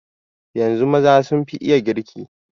Yanzun maza sun fi iya girki.